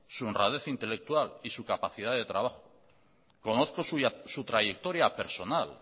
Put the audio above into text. su honradez intelectual y su capacidad de trabajo conozco su trayectoria personal